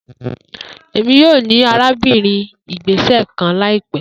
Emi yoo ni arabinrin igbesẹ kan laipẹ